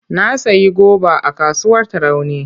Na sayi goba a kasuwar Tarauni.